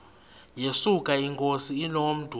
yesuka inkosi inomntu